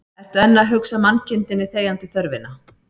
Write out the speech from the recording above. Ertu enn að hugsa mannkindinni þegjandi þörfina